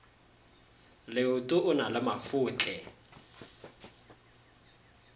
leoto o na le mafotle